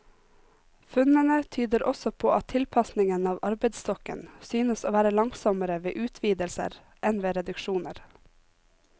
Funnene tyder også på at tilpasningen av arbeidsstokken synes å være langsommere ved utvidelser enn ved reduksjoner.